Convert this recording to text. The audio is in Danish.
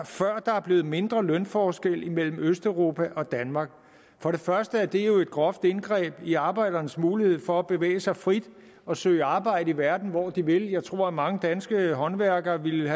før der er blevet mindre lønforskel mellem østeuropa og danmark for det første er det jo et groft indgreb i arbejdernes mulighed for at bevæge sig frit og søge arbejde i verden hvor de vil jeg tror at mange danske håndværkere ville